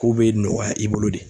Kow bɛ nɔgɔya i bolo de.